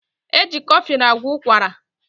Eji kọflịn agwọ ụkwara